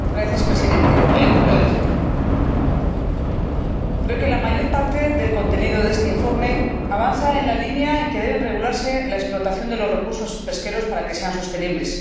Señor Presidente, creo que la mayor parte del contenido de este informe avanza en la línea en que debe regularse la explotación de los recursos pesqueros para que sean sostenibles.